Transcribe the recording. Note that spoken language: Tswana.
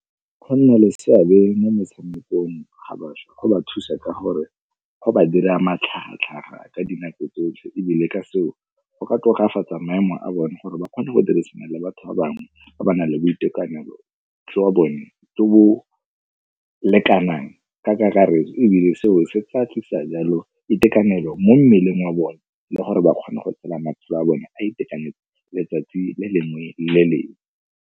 Go nna le seabe mo metshamekong ga bašwa go ba thusa ka gore go ba dira matlhagatlhaga ka dinako tsotlhe, ebile ka seo go ka tokafatsa maemo a bone gore ba kgona go dirisana le batho ba bangwe ba ba nang le boitekanelo jwa bone jo bo lekanang ka kakaretso, ebile seo se tla tlisa jalo itekanelo mo mmeleng wa bone le gore ba kgone go tshela matshelo a bone a itekanetse letsatsi le lengwe le lengwe.